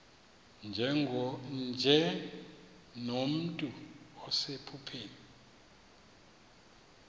nje nomntu osephupheni